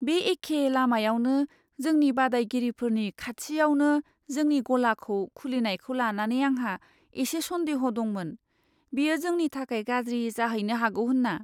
बे एखे लामायावनो जोंनि बादायगिरिफोरनि खाथियावनो जोंनि गलाखौ खुलिनायखौ लानानै आंहा एसे सन्देह' दंमोन, बेयो जोंनि थाखाय गाज्रि जाहैनो हागौ होनना।